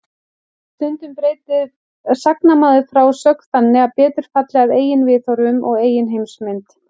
Stundum breytir sagnamaður frásögn þannig að betur falli að eigin viðhorfum og eigin heimsmynd.